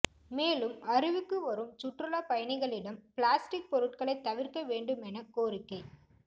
மேலும் அருவிக்கு வரும் சுற்றுலா பயணிகளிடம் பிளாஸ்டிக் பொருட்களை தவிர்க்க வேண்டுமென கோரிக்